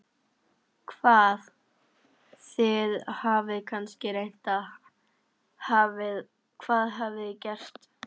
Hvað, þið hafið kannski reynt, hvað hafið þið gert?